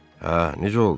Hə, necə oldu?